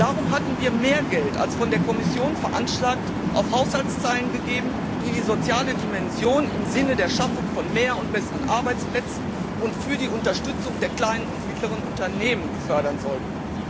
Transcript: Darum hatten wir mehr Geld als von der Kommission veranschlagt auf Haushaltszeilen gegeben, die die soziale Dimension im Sinne der Schaffung von mehr und besseren Arbeitsplätzen und die Unterstützung der kleinen und mittleren Unternehmen fördern sollten.